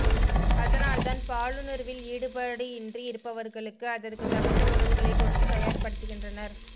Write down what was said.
அதனால்தான் பாலுணர்வில் ஈடுபாடு இன்றி இருப்பவர்களுக்கு அதற்கு தகுந்த உணவுகளைக் கொடுத்து தயார் படுத்துகின்றனர்